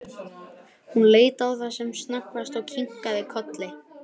Hún leit á það sem snöggvast og kinkaði kolli.